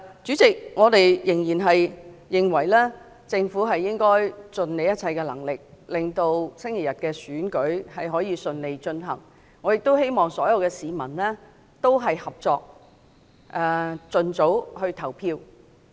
主席，我們仍認為政府應盡一切能力，令本周日的選舉可以順利進行，我亦希望所有市民合作，盡早投票。